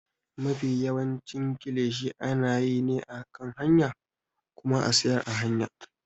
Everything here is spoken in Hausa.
Mafi yawancin kilishi ana yi ne a kan hanya kuma a siyar a hanya.